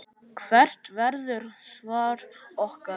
Hvert verður svar okkar?